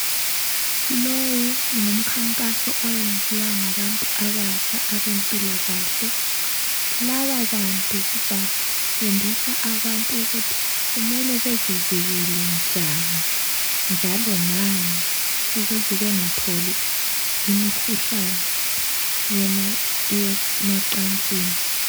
Lo ngumkhankaso ngoyenziwa ngabantu abatsha abempilakahle. Lababantu bafundisa abantu ukuthi kumele bezivikele njani, njalo ngani ,ukuze bengatholi imikhuhlane yemacansini.